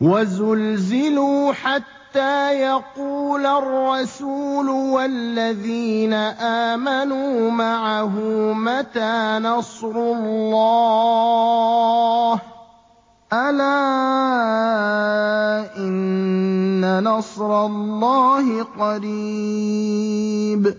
وَزُلْزِلُوا حَتَّىٰ يَقُولَ الرَّسُولُ وَالَّذِينَ آمَنُوا مَعَهُ مَتَىٰ نَصْرُ اللَّهِ ۗ أَلَا إِنَّ نَصْرَ اللَّهِ قَرِيبٌ